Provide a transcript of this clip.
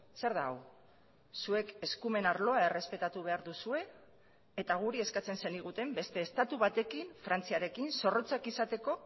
zer da hau zuek eskumen arloa errespetatu behar duzue eta guri eskatzen zeniguten beste estatu batekin frantziarekin zorrotzak izateko